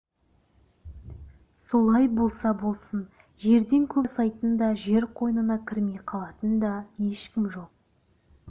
солай болса болсын жерден көп жасайтын да жер қойнына кірмей қалатын да ешкім жоқ